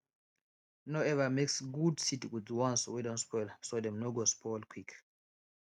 no ever mix good seed with the ones wey don spoil so dem no go spoil quick